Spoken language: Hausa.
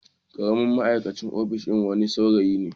Karamin ma'aikacin ofishin wani saurayi ne.